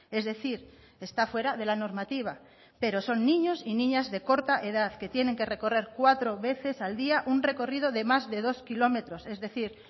es decir está fuera de la normativa pero son niños y niñas de corta edad que tienen que recorrer cuatro veces al día un recorrido de más de dos kilómetros es decir